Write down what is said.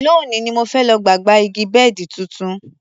Lónìí ni mo fẹ́ lọ gba gba igi bẹ́ẹ̀dì tuntun